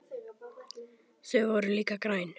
Þau voru líka græn.